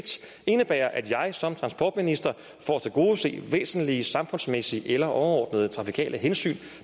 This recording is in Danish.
indebærer at jeg som transportminister for at tilgodese væsentlige samfundsmæssige eller overordnede trafikale hensyn